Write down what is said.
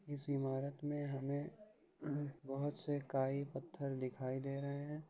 इस इमारत में हमें बहुत से काई पत्थर दिखाई दे रहे हैं।